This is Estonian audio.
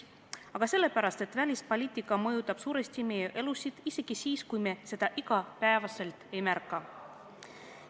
Aga sellepärast, et välispoliitika mõjutab suuresti meie elusid, isegi siis, kui me seda igapäevaselt ei märka.